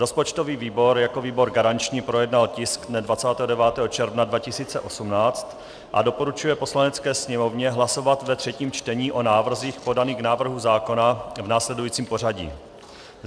Rozpočtový výbor jako výbor garanční projednal tisk dne 29. června 2018 a doporučuje Poslanecké sněmovně hlasovat ve třetím čtení o návrzích podaných k návrhu zákona v následujícím pořadí.